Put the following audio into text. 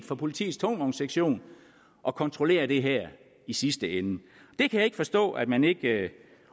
for politiets tungvognssektion at kontrollere det i sidste ende jeg kan ikke forstå at man ikke